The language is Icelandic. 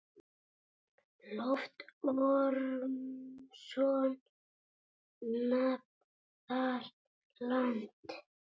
Loftur Ormsson nam þar land.